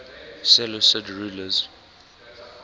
seleucid rulers